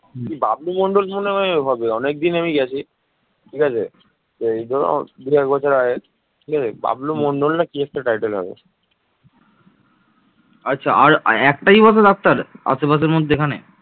বাংলায় প্রতিষ্ঠিত হয় অভিজাততন্ত্র এই সময় প্রভাবশালী লোকেদের সভা প্রকৃত্পুঞ্জ গোপাল নামের এক রাজাকে নির্বাচন করেন তিনি মাৎস্যন্যায় এর পতন ঘটান